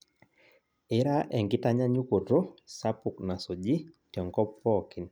Ira enkitanyanyukoto sapuk nasuji tenkop pookin